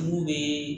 Mun bɛ